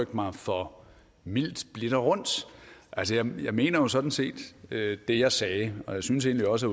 mig for mildt blidt og rundt altså jeg mener jo sådan set det jeg sagde og jeg synes egentlig også